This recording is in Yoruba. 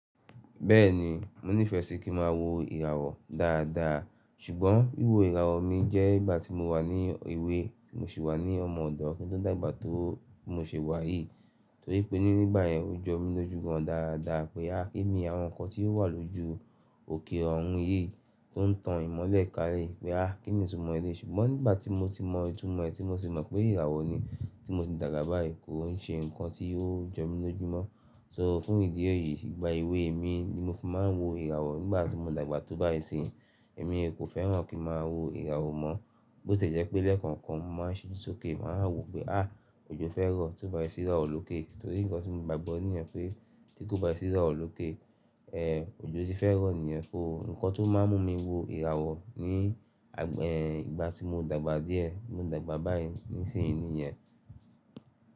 Bẹ́ẹ̀ni, mo nífẹ̀ẹ́ sí kí ń ma wo ìràwọ̀ dáadáa. Ṣùgbọ́n wíwo ìràwọ̀ mi jẹ́ ìgbà tí mo wà ní èwé tí mo ṣì wà ní ọmọ ọ̀dọ́ kí n tó dàgbà tó bí mo ṣe wà yìí. Torí pé nígbà yẹn ó jọ mí lójú gan dàadáa pé a kí ni àwọn nǹkan tí ó wà lójú òkè ọ̀run yìí tó n tan ìmọ́lẹ̀ kalẹ̀ pé a kí ni ìtumọ̀ èléyí. Ṣùgbọ́n nígbà tí mo ti mọ ìtumọ̀ ẹ̀ tí mo sì mọ̀ pé ìràwọ̀ ni tí mo ti dàgbà báyìí kò n ṣe nǹkan tí ó jọ mí lójú mọ́. So fún ìdí èyí ìgbà èwe mi ni mo fi máa ń wo ìràwọ̀ nígbà tí mo dàgbà tó báyìí n sì. Èmi kò fẹ́ràn kí màá wo ìràwọ̀ mọ́, bó tì ẹ́ jẹ́ pé lẹ́ẹ̀kan kan mo màá ṣiju sókè màá wò pé a òjo fẹ́ rọ́ ti ó bá sì iràwọ́ lókè. Torí nǹkan tí mo gbàgbọ́ níyẹ́n pé tí kò bá sì ìràwọ̀ lókè, ẹ òjo ti fẹ́ rọ́ nìyẹn so Ǹkan tó máa ń mú mi wo ìràwọ̀ ní ìgbà tí mo dàgbà díẹ̀, mo dàgbà báyìí nísìnyí nìyẹn.